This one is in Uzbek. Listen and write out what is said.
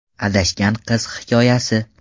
Adashgan qiz hikoyasi .